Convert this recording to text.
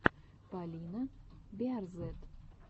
полина биарзэт